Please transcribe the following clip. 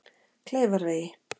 Kleifarvegi